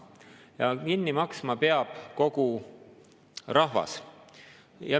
Ja kinni maksma peab kogu rahvas.